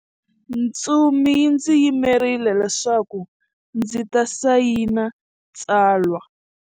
Ntsumi yi ndzi yimerile leswaku ndzi ta sayina tsalwa.